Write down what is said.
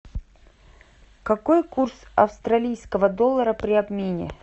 какой курс австралийского доллара при обмене